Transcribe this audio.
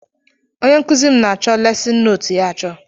Ónyé nkụzi m na-acho lesin nóótu ya achọ.